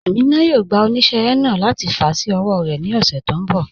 Amina yóò gbà oníṣẹ̀ henna láti fà sí ọwọ̀ rẹ ni ọṣẹ̀ tó nbọ̀.